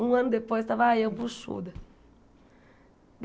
Um ano depois estava eu, buchuda.